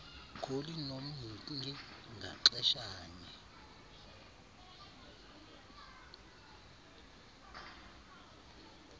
kholi nomhinki ngaxeshanye